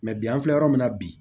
bi an filɛ yɔrɔ min na bi